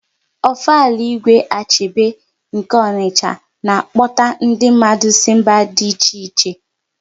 Ofala Igwe Achebe nke Ọnicha na-akpọta ndi mmadụ si mba dị iche iche